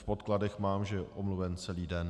V podkladech mám, že je omluven celý den.